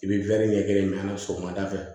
I bɛ ɲɛ kelen sɔgɔmada fɛ